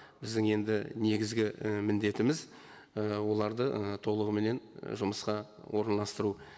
біздің енді негізгі і міндетіміз і оларды ы толығыменен жұмысқа орналастыру